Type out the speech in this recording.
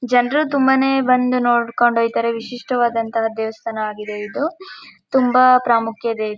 ಜನರು ತುಂಬಾನೇ ಬಂದು ನೋಡ್ಕೊಂಡ್ ಹೊಯ್ತಾರೆ ವಿಶಿಷ್ಟವಾದಂತಹ ದೇವಸ್ಥಾನ ಆಗಿದೆ ಇದು ತುಂಬಾ ಪ್ರಾಮುಖ್ಯತೆ ಇದೆ.